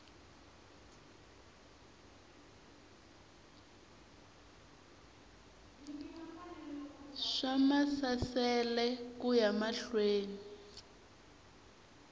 swa maasesele ku ya mahlweni